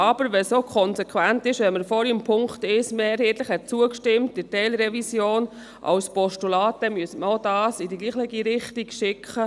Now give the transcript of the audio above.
Wenn es aber auch konsequent ist, dass man vorhin dem Punkt 1 bezüglich der Teilrevision mehrheitlich als Postulat zugestimmt hat, dann müsste man dies hier in die gleiche Richtung lenken.